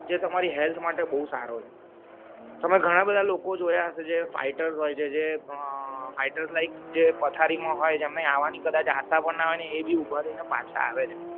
જે તમારી health માટે બહુ સારો છે તમે ઘણા બધા લોકો જોયા હશે જે fighters હોય છે જે fighters like જે પથારી માં હોય જમણે આવાની કદાચ આશા ભી ના હોય ને એ ભી ઉભા થય ને પાછા આવે છે